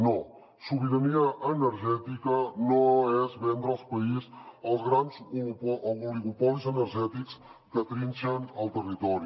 no sobirania energètica no és vendre el país als grans oligopolis energètics que trinxen el territori